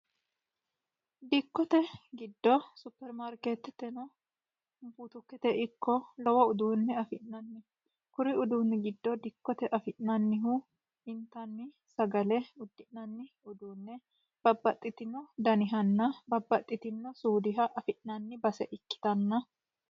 Dikkote giddo supermaarketete lowo uduunne afi'nanni. Kuri uduunni giddo intanni sagale, uddi'nanni uddano hattono babbaxinore ikkanna...